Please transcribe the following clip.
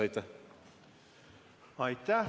Aitäh!